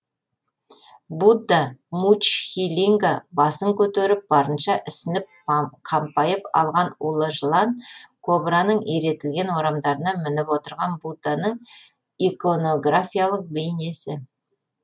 будда муччхилинга басын көтеріп барынша ісініп қампайып алған улы жылан кобраның иретілген орамдарына мініп отырған будданың иконографиялық бейнесі